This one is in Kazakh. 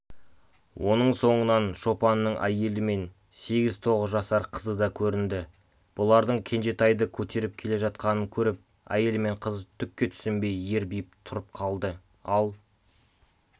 оның соңынан шопанның әйелі мен сегіз-тоғыз жасар қызы да көрінді бұлардың кенжетайды көтеріп келе жатқанын көріп әйел мен қыз түкке түсінбей ербиіп тұрып қалды ал